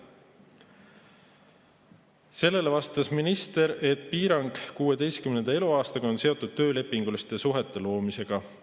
Sellele vastas minister, et piirang 16 eluaastat on seotud töölepinguliste suhete loomisega.